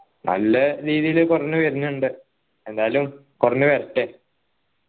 നല്ല രീതിയിൽ കുറഞ്ഞു വരുന്നുണ്ട് എന്തായാലും കുറഞ്ഞു വരട്ടെ